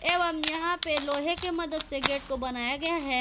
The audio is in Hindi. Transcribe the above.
एवम यहां पे लोहे के मदद से गेट को बनाया गया है।